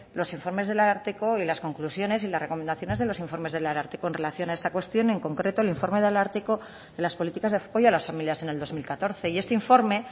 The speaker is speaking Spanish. los informes del ararteko y las conclusiones y las recomendaciones de los informes del ararteko en relación a esta cuestión y en concreto al informe del ararteko en las políticas de apoyo a las familias en el dos mil catorce y este informe